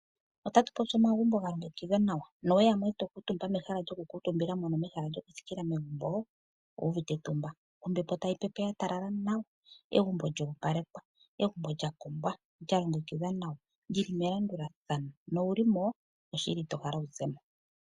Otatu popi omagumbo ga tungika nawa nowe ya mo e to kuutumba mehala lyokukuutumba mono mehala lyokuthikila megumbo, owu uvite etumba. Ombepo tayi pepe ya talala nawa, egumbo lyo opalekwa, egumbo lya kombwa, lya longekidhwa nawa, lyi li melandulathano. Nowu li mo oshili ito hala okuza mo.